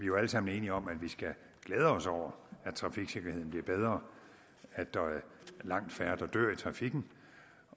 jo alle sammen enige om at vi skal glæde os over at trafiksikkerheden bliver bedre at der er langt færre der dør i trafikken